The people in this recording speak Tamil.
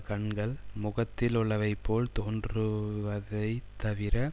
கண்கள் முகத்தில் உள்ளவைபோல் தோன்றுவதைத் தவிர